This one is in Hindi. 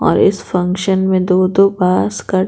और इस फंक्शन में दो-दो पास कर--